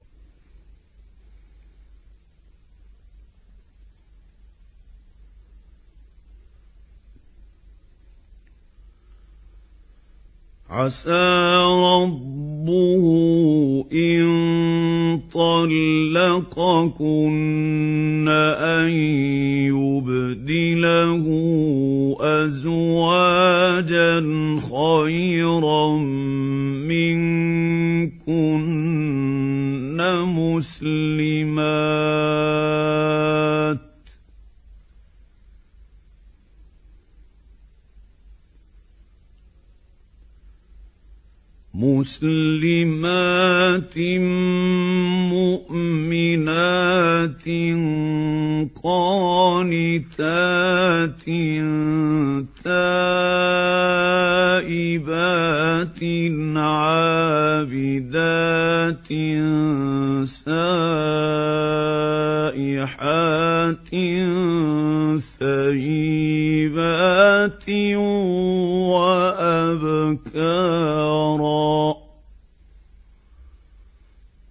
عَسَىٰ رَبُّهُ إِن طَلَّقَكُنَّ أَن يُبْدِلَهُ أَزْوَاجًا خَيْرًا مِّنكُنَّ مُسْلِمَاتٍ مُّؤْمِنَاتٍ قَانِتَاتٍ تَائِبَاتٍ عَابِدَاتٍ سَائِحَاتٍ ثَيِّبَاتٍ وَأَبْكَارًا